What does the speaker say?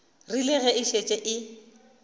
rile ge e šetše e